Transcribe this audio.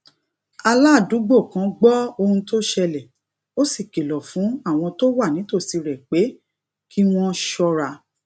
aládùúgbò kan gbó ohun tó ṣẹlè ó sì kìlò fún àwọn tó wà nítòsí rè pé kí wón ṣóra